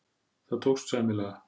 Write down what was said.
Það tókst sæmilega.